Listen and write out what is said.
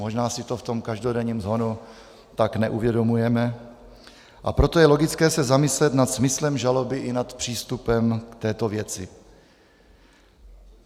Možná si to v tom každodenním shonu tak neuvědomujeme, a proto je logické se zamyslet nad smyslem žaloby i nad přístupem k této věci.